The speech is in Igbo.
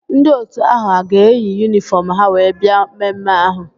Ndị otu ahụ a ga-eyi yunifọm ha wee bia mmemme ahụ?